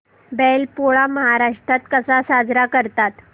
बैल पोळा महाराष्ट्रात कसा साजरा करतात